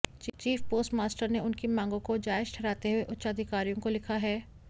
chief post master ने उनकी मांगों को जायज ठहराते हुए उच्चाधिकारियों को लिखा है